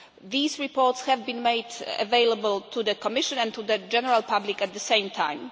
These reports have been made available to the Commission and to the general public at the same time.